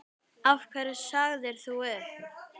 Af hverju sagðir þú upp?